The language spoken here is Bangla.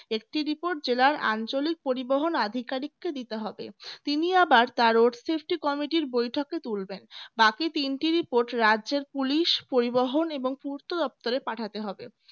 একটি report জেলার আঞ্চলিক পরিবহন আধিকারিককে দিতে হবে তিনি আবার তার সৃষ্টি committee র বৈঠকে তুলবেন বাকি তিনটি report রাজ্যের police পরিবহন এবং পূর্ত দপ্তরে পাঠাতে হবে